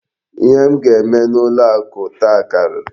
Ihe m ga-eme n'ụlọ akụ taa karịrị.